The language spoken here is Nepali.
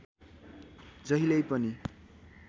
जहिल्यै पनि